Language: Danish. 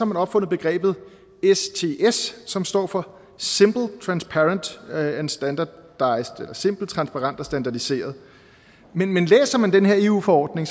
man opfundet begrebet sts som står for simple transparent and standardised eller simpelt transparent og standardiseret men læser man den her eu forordning